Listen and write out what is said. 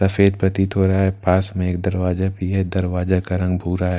सफेद पतित हो रहा हैं पास में एक दरवाजा भी हैं दरवाजा का रंग भूरा हैं।